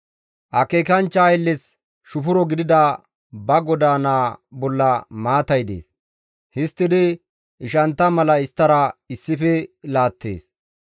Akeekanchcha aylles shufuro gidida ba goda naa bolla maatay dees; histtidi ishantta mala isttara issife laattees.